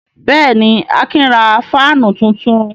Bẹ́ẹ̀ ni, Akin ra fáánù tuntun.